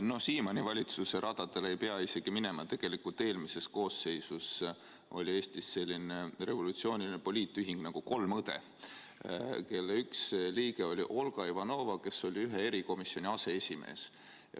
No Siimanni valitsuse radadele ei pea isegi minema, tegelikult eelmises koosseisus oli Eestis selline revolutsiooniline poliitühing nagu "kolm õde", kelle üks liige oli Olga Ivanova, kes oli ühe erikomisjoni aseesimees.